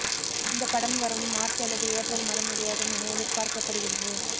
இந்த படம் வரும் மார்ச் அல்லது ஏப்ரல் மாதம் வெளியாகும் என எதிர்பார்க்கப்படுகிறது